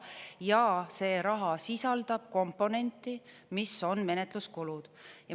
Ja see raha sisaldab komponenti, mis on menetluskulud.